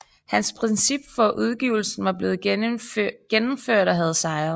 Hans princip for udgivelsen var blevet gennemført og havde sejret